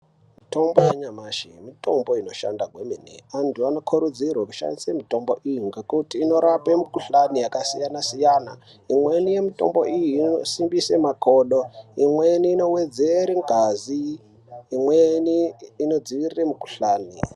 Mitombo yanyamashi mitombo inobaashanda kwemene. Anthu anokurudzirwa kushandise mitombo iyi, ngekuti inorape mikhuhlani yakasiyana-siyana. Imweni mitombo iyi inosimbise makodo, imweni unowedzera ngazi neimweni inodziirira mukhuhlani.